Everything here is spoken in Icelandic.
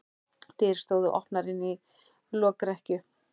Dyr stóðu opnar inn í lokrekkju.